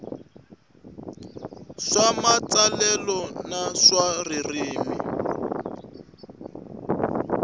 swa matsalelo na swa ririmi